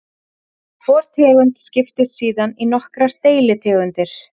Hvor tegund skiptist síðan í nokkrar deilitegundir.